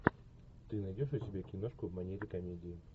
ты найдешь у себя киношку в манере комедии